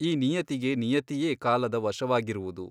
ಈ ನಿಯತಿಗೆ ನಿಯತಿಯೇ ಕಾಲದ ವಶವಾಗಿರುವುದು.